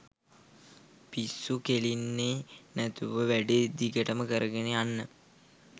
පිස්සු කෙලින්නේ නැතුව වැඩේ දිගටම කරගෙන යන්න